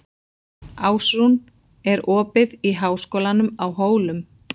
Ásrún, er opið í Háskólanum á Hólum?